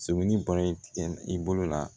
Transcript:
Sɛbɛli bɔra i bolo la